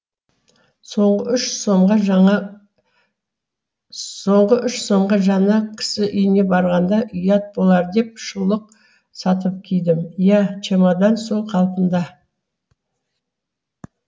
соңғы үш сомға жаңа соңғы үш сомға жана кісі үйіне барғанда ұят болар деп шұлық сатып кидім ия чемодан сол қалпында